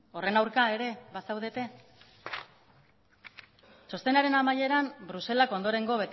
horren aurka ere bazaudete txostenaren amaieran bruselak ondorengo